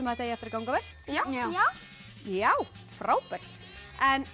þetta eigi eftir að ganga vel já já já frábært en